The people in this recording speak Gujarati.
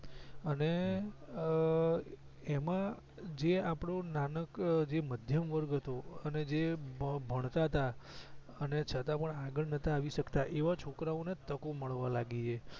અને અં એમાં જે આપડો નેનો મધ્યમ વર્ગ હતો એને જે ભણતા તા અને છતાં પણ આગળ નતા આવી સકતા એવા છોકરા ને તકો મળવા લાગી છે